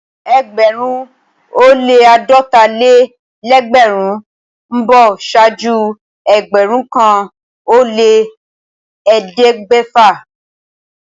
Ẹgbẹ̀rún ó lẹ́ àádọ́ta-lé-lẹ́gbẹ̀rún ó ń bọ̀ ṣáájú ẹgbẹ̀rún kan ó lẹ́ ẹ̀ẹ́dẹ́gbẹ̀ta.